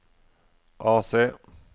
AC